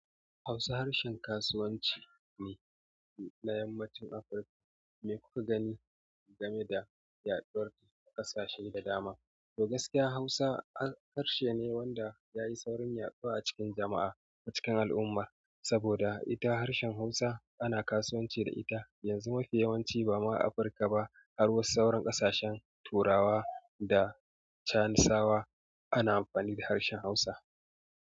Hausa harshen kasuwanci ne na yammacin Afirka me kuka gani game da yaduwar ƙasashe da dama. Toh gaskiya Hausa harshe ne da yai saurin yaɗuwa a cikin jama'a a cikin al'umma sabida ita harshen hausa ana kasuwanci da ita. Yanzu mafi yawanci ba ma Afirka ba har wasu sauran ƙasashen turawa da chanisawa ana amfani da harshen Hausa.